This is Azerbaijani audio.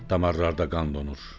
damarlarda qan donur.